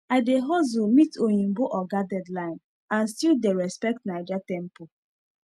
i dey hustle meet oyinbo oga deadline and still dey respect naija tempo